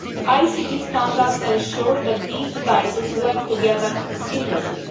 ICT standards ensure that these devices work together seamlessly.